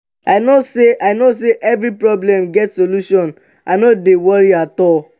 i know sey i know sey every problem get solution i no dey worry at all.